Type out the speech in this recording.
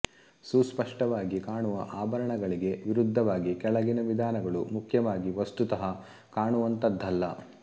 ಸುಸ್ಪಷ್ಟವಾಗಿ ಕಾಣುವ ಆಭರಣಗಳಿಗೆ ವಿರುದ್ಧವಾಗಿ ಕೆಳಗಿನ ವಿಧಾನಗಳು ಮುಖ್ಯವಾಗಿ ವಸ್ತುತಃ ಕಾಣುವಂತಹದ್ದಲ್ಲ